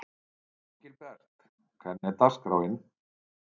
Engilbert, hvernig er dagskráin?